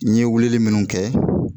N ye wulili minnu kɛ